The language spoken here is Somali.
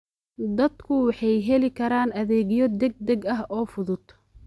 Dadku waxay heli karaan adeegyo degdeg ah oo fudud.